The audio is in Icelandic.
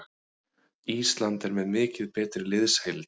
Ísland er með mikið betri liðsheild